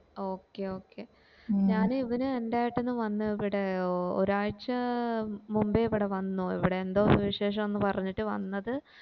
okay okay ഞാന് ഇവന് അൻറെ ഏട്ടനു വന്ന് ഇവിടെ ഒരാഴ്ചാ മുമ്പേ ഇവിടെ വന്നു ഇവിടെ എന്തോ വിശേഷം ആന്ന് പറഞ്ഞിട് വന്നത്